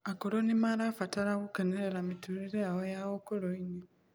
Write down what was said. Akũrũ nimarabatara gukenerera mitũririe yao ya ũkũrũ-ini